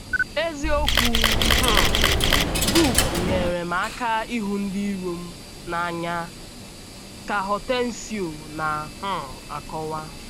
“ Eziokwu um book nyeere m aka ịhụ ndị iro m ndị iro m n’anya, ” ka Hortêncio na - um akọwa.